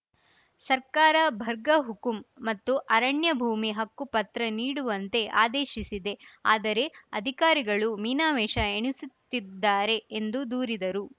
ಸರ್ಕಾರ ಬರ್ಗ ಹುಕುಂ ಮತ್ತು ಅರಣ್ಯ ಭೂಮಿ ಹಕ್ಕು ಪತ್ರ ನೀಡುವಂತೆ ಆದೇಶಿಸಿದೆ ಆದರೆ ಅಧಿಕಾರಿಗಳು ಮೀನಾಮೇಷ ಎಣಿಸುತ್ತಿದ್ದಾರೆ ಎಂದು ದೂರಿದರು